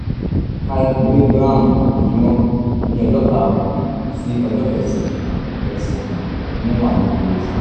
five miligíráàmù lójúmọ́ ní ọjọ́ karùn-ún sí ọjọ́ kẹsàn-án kẹsàn-án nínú àyípo oṣù